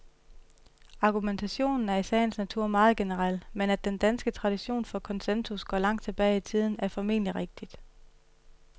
Argumentationen er i sagens natur meget generel, men at den danske tradition for konsensus går langt tilbage i tiden, er formentlig rigtigt.